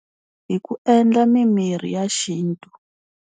Hi ku endla mimirhi ya xintu.